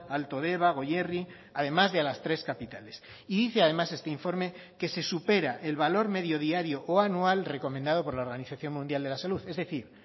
alto deba goierri además de a las tres capitales y dice además este informe que se supera el valor medio diario o anual recomendado por la organización mundial de la salud es decir